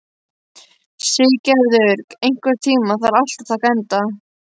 Siggerður, einhvern tímann þarf allt að taka enda.